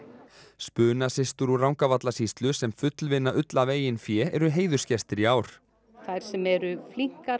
spunasystur úr Rangárvallasýslu sem fullvinna ull af eigin fé eru heiðursgestir í ár þær sem eru